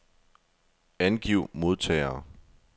Angiv modtagere.